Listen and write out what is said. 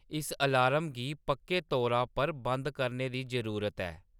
इस अलार्म गी पक्के तौरे पर बंद करने दी जरूरत ऐ